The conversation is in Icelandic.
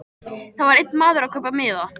Þar var einn maður að kaupa miða.